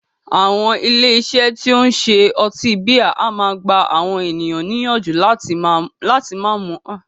Àwọn ilé iṣé tí o ń ṣe ọtí bíà a máà gbà àwọn ènìyàn níyànjú láti má mú àmúpará.